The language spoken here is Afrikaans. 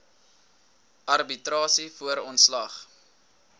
arbitrasie voor ontslag